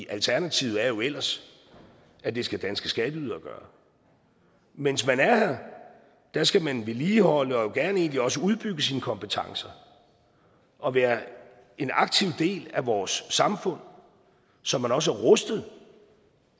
alternativet er jo ellers at det skal danske skatteydere gøre mens man er her skal man vedligeholde og gerne egentlig også udbygge sine kompetencer og være en aktiv del af vores samfund så man også er rustet